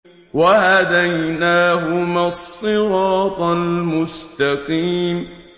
وَهَدَيْنَاهُمَا الصِّرَاطَ الْمُسْتَقِيمَ